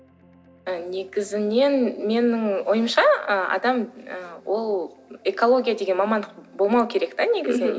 і негізінен менің ойымша ы адам ы ол экология деген мамандық болмау керек те негізіннен